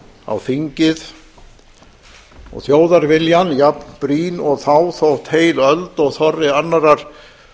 á þingið og þjóðarviljann jafn brýn og þá þótt heil öld og þorri annarrar